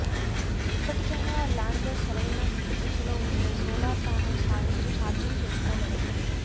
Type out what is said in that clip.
ఇప్పటికైనా ల్యాండర్ సరైన దిశలో ఉంటే సోలార్ ప్యానెల్స్ సాయంతో చార్జింగ్ చేసుకోగలదు